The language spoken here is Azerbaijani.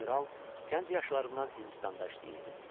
General gənc yaşlarından Hindistanda işləyirdi.